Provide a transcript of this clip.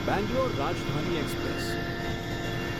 Bangalore Rajdhani express